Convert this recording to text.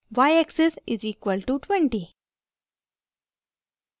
y axis = 20